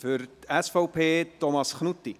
Für die SVP: Thomas Knutti.